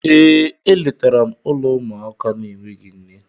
Ee, e letara m ụlọ ụmụaka na-enweghị nne.